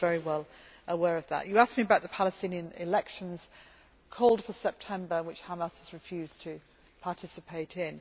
I was very well aware of that. You asked me about the Palestinian elections called for September, which Hamas has refused to participate in.